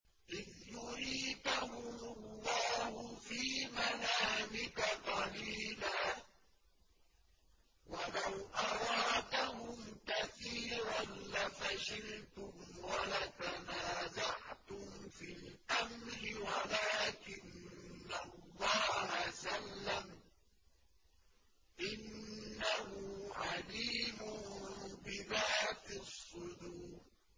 إِذْ يُرِيكَهُمُ اللَّهُ فِي مَنَامِكَ قَلِيلًا ۖ وَلَوْ أَرَاكَهُمْ كَثِيرًا لَّفَشِلْتُمْ وَلَتَنَازَعْتُمْ فِي الْأَمْرِ وَلَٰكِنَّ اللَّهَ سَلَّمَ ۗ إِنَّهُ عَلِيمٌ بِذَاتِ الصُّدُورِ